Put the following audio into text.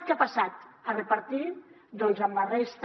què ha passat a repartir doncs amb la resta